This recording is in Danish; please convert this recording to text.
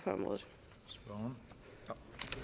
på